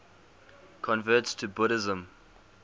converts to buddhism